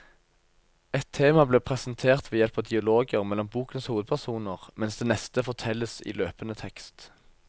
Ett tema blir presentert ved hjelp av dialoger mellom bokens hovedpersoner, mens det neste fortelles i løpende tekst.